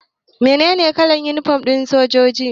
Meye kalan yunifom ɗin sojoji?